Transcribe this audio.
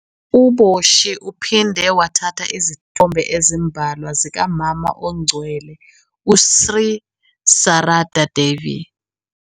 U-Boshi uphinde wathatha izithombe ezimbalwa zikaMama Ongcwele u- Sri Sarada Devi.